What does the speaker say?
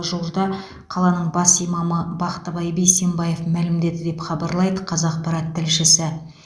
жуырда қаланың бас имамы бақтыбай бейсенбаев мәлімдеді деп хабарлайды қазақпарат тілшісі